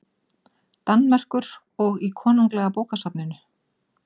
Danmerkur og í Konunglega bókasafninu.